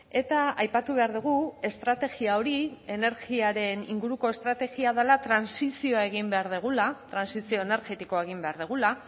eta aipatu behar dugu estrategia hori energiaren inguruko estrategia dela trantsizioa egin behar dugula trantsizio energetikoa egin behar dugula